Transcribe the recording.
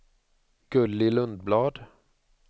Gulli Lundblad